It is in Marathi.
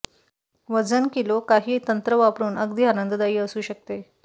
वजन किलो काही तंत्र वापरून अगदी आनंददायी असू शकते